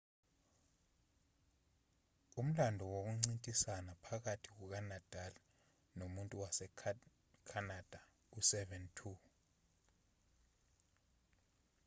umlando wokuncintisana phakathi kukanadal nomuntu wasekhanada u-7–2